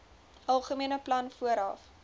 algemene plan vooraf